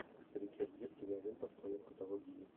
ричард гир кинолента в твоем каталоге есть